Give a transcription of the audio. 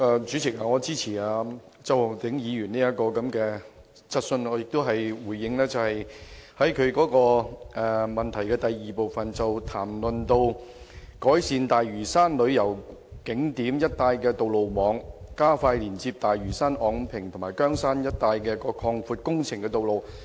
主席，我支持周浩鼎議員提出的這項質詢，我也想回應其主體質詢第二部分，關於改善大嶼山旅遊景點一帶的道路網，包括加快連接大嶼山、昂坪及羗山一帶擴闊道路的工程。